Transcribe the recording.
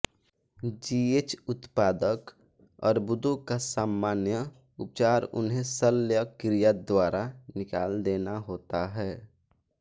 जीएचउत्पादक अर्बुदों का सामान्य उपचार उन्हें शल्यक्रिया द्वारा निकाल देना होता है